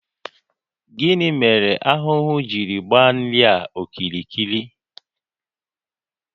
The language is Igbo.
Gịnị mere ahụhụ jiri gbaa nri a okirikiri?